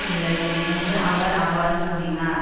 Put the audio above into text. உள்ளது என்று அவர் அவ்வாறு கூறினார்